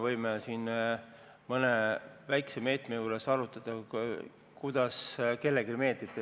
Võib-olla mõne väikese meetme juures võime arutada nii, kuidas kellelegi meeldib.